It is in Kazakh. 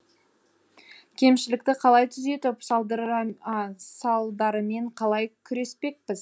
кемшілікті қалай түзетіп салдарымен қалай күреспекпіз